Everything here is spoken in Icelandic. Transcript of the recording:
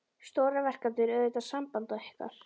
Stóra verkefnið er auðvitað samband ykkar.